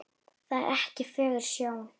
Það er ekki fögur sjón.